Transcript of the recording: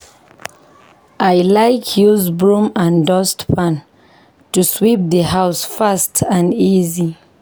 I like use broom and dustpan to sweep di house fast and easy.